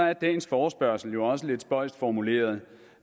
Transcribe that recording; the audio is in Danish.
er dagens forespørgsel også lidt spøjst formuleret